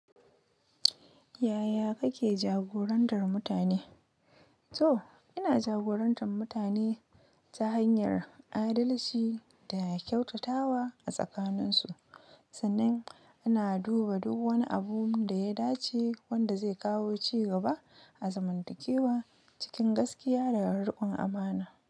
Yaya kake jagorantar mutane? Toh, ina jagorantan mutane ta hanyar adalci da kyautatawa a tsakaninsu. Sannan ina duba duk wani abunda ya dace wanda de kawo cigaba a azimantakewa cikin gaskiya da riƙon amana.